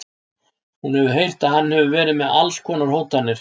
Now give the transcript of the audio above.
Hún hefur heyrt að hann hafi verið með alls konar hótanir.